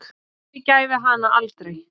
Hann yfirgæfi hana aldrei.